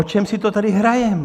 O čem si to tady hrajeme?